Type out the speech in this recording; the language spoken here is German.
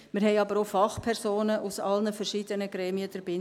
Wir haben aber auch Fachpersonen aus allen verschiedenen Gremien drin.